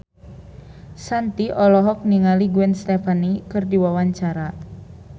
Shanti olohok ningali Gwen Stefani keur diwawancara